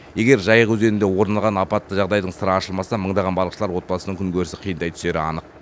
егер жайық өзенінде орын алған апатты жағдайдың сыры ашылмаса мыңдаған балықшылар отбасының күнкөрісі қиындай түсері анық